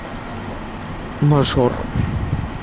мажор